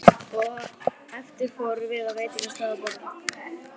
Á eftir fórum við á veitingastað og borðuðum.